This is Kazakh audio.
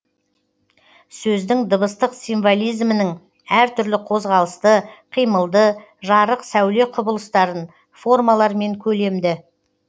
сөздің дыбыстық символизмінің әр түрлі қозғалысты қимылды жарық сәуле құбылыстарын формалар мен көлемді